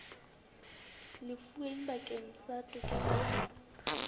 lefuweng bakeng sa tokelo ya